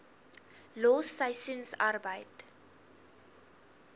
los seisoensarbeid